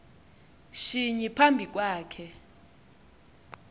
shinyi phambi kwakhe